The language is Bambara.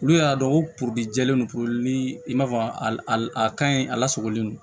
Olu y'a dɔn ko jɛlen don ni i m'a fɔ a ka ɲi a lasagolen don